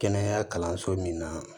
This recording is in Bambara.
Kɛnɛya kalanso min na